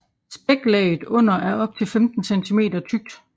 Spæklaget under er op til 15 cm tykt